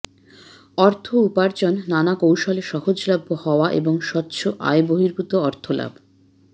অর্থ উপার্জন নানা কৌশলে সহজলভ্য হওয়া এবং স্বচ্ছ আয়বহির্ভূত অর্থলাভ